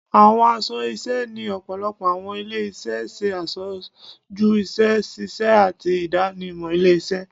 Àwọn aṣọ iṣẹ́ ni ọ̀pọ̀lọpọ̀ àwọn ilé-iṣẹ ṣe aṣojú iṣẹ́-ṣíṣe ati ìdánimọ̀ ilé-iṣẹ́.